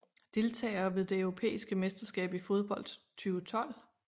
Deltagere ved det europæiske mesterskab i fodbold 2012